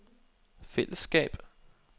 fællesskab